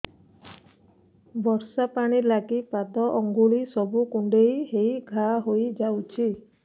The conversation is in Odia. ବର୍ଷା ପାଣି ଲାଗି ପାଦ ଅଙ୍ଗୁଳି ସବୁ କୁଣ୍ଡେଇ ହେଇ ଘା ହୋଇଯାଉଛି